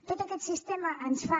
tot aquest sistema ens fa